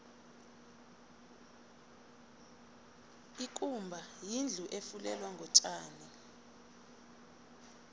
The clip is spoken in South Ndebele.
ikumba yindlu efulelwe ngotjani